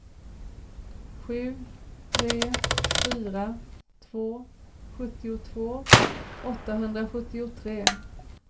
sju tre fyra två sjuttiotvå åttahundrasjuttiotre